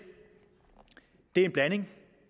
er en blanding